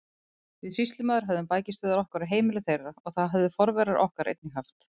Við sýslumaður höfðum bækistöðvar okkar á heimili þeirra og það höfðu forverar okkar einnig haft.